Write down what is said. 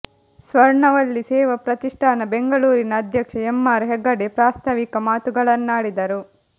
ಸ್ವರ್ಣವಲ್ಲೀ ಸೇವಾ ಪ್ರತಿಷ್ಠಾನ ಬೆಂಗಳೂರಿನ ಅಧ್ಯಕ್ಷ M R Hegde ಪ್ರಾಸ್ತಾವಿಕ ಮಾತುಗಳನ್ನಾಡಿದರು